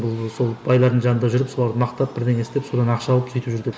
бұл сол байлардың жанында жүріп соларды мақтап бірдеңе істеп содан ақша алып сөйтіп жүр деп